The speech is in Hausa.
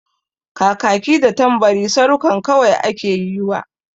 Kakaki da Tambari sarukan kawai ake yiwa.